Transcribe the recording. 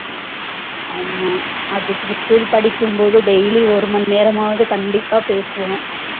ஆமா அதுக்கு school படிக்கும் போது daily ஒரு மணி நேரமாவாது கண்டிப்பா பேசுவோம்